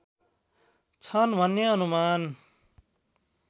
छन् भन्ने अनुमान